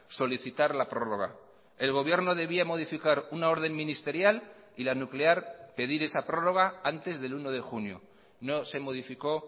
solicitar la prórroga el gobierno debía modificar una orden ministerial y la nuclear pedir esa prórroga antes del uno de junio no se modificó